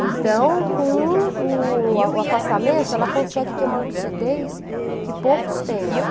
Então, com o o afastamento, ela consegue ter uma lucidez que poucos têm, né.